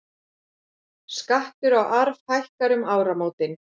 Skattur á arf hækkar um áramótin